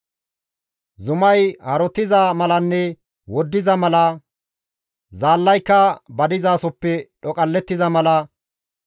«Zumay harottiza malanne woddiza mala, zaallayka ba dizasoppe dhoqallettiza mala,